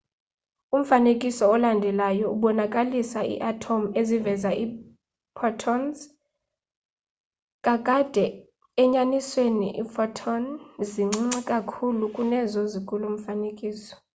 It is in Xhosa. umfanekiso olandelayo ubonakalisa iiathom eziveza iiphotons kakade enyanisweni iiphoton zincinci kakhulu kunezo zikulo mfanekiso